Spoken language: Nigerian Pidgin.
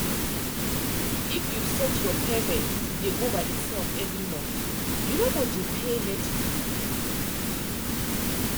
if you set your payment to dey go by itself every month you no go dey pay late fee.